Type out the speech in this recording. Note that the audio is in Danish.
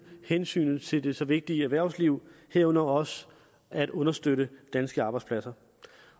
hensynet til det så vigtige erhvervsliv herunder også at understøtte danske arbejdspladser